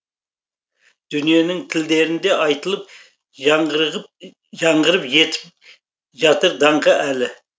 дүниенің тілдерінде айтылып жаңғырып етіп жатыр даңқы әлі